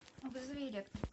вызови электрика